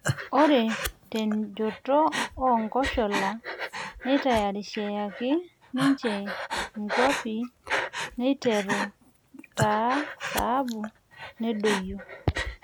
Ore tenjoto oo nkoshola nneitariyianaki ninje nkwapi eiteru taa saabu nedoyio